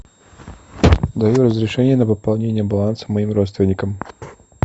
даю разрешение на пополнение баланса моим родственникам